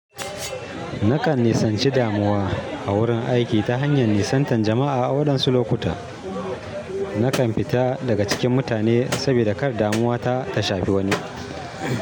Nakan nisanci damuwa a wurin aiki ta hanyar nisantar jama'a a waɗansu lokuta. Nakan fita daga cikin mutane, sabida kar damuwa ta ta shafe wani.